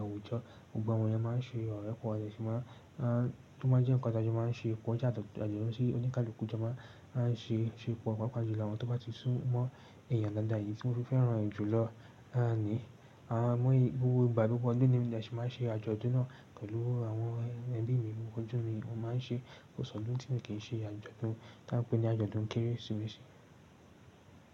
àwùjọ. Gbogbo àwọn èèyàn máa ń ṣe ọ̀rẹ́ pọ̀, ó sì máa ń jẹ́ nǹkan tí a jọ máa ń ṣe pọ̀ jáde lọ sí oníkálukú. Ọ̀jọ̀ọ́ máa ń ṣe pọ̀, pàápàá jùlọ àwọn tó bá ti sún mọ́ ẹ̀yàn dáadáa. Ìdí tí mo fi fẹ́ràn rẹ̀ jùlọ ni gbogbo ìgbà gbogbo ọdún ni mi ò sì máa ń ṣe àjọ̀dún náà pẹ̀lú àwọn ẹbí mi. Òjò mi wọ́n máa ń ṣe kò sọ ọdún tí wọn n kii ṣe àjọ̀dún tí a ń pè ní àjọ̀dún Kérésìmesì.